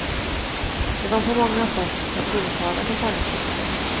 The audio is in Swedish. Det var på många sätt en tilltalande tanke.